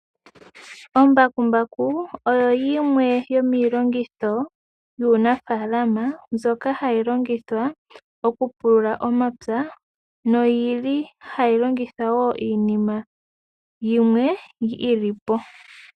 Ombakumbaku oyo yimwe yo miilongitho yuunafalama mbyoka hayi longithwa okupulula omapya noyi li hayi longithwa wo iinima yimwe yi lipo.